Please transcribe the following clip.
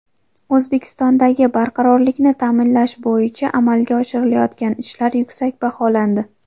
O‘zbekistondagi barqarorlikni ta’minlash bo‘yicha amalga oshirilayotgan ishlar yuksak baholandi.